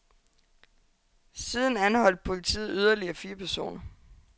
Siden anholdt politiet yderligere fire personer.